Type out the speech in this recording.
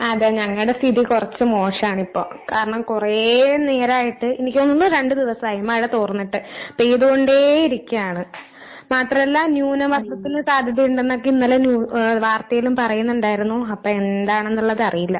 അതെ ഞങ്ങടെ സ്ഥിതി കൊറച്ച് മോശാണ് ഇപ്പൊ. കാരണം കൊറേ നേരായിട്ട്, എനിക്ക് തോന്നുന്നു രണ്ട് ദിവസായി മഴ തോർന്നട്ട് പെയ്തുകൊണ്ടേ ഇരിക്കാണ്. മാത്രം അല്ല ന്യൂനമർദ്ദത്തിന് സാധ്യത ഇണ്ടന്നെക്കെ ഇന്നലെ ന്യൂ ഏഹ് വാർത്തേലും പറയുന്നുണ്ടായിരുന്നു അപ്പെ എന്താണെന്നുള്ളത് അറിയില്ല.